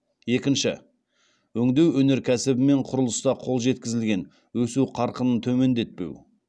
екінші өңдеу өнеркәсібі мен құрылыста қол жеткізілген өсу қарқынын төмендетпеу